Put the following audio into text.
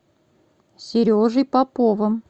сережей поповым